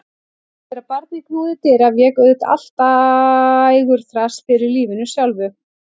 Þegar barnið knúði dyra vék auðvitað allt dægurþras fyrir lífinu sjálfu.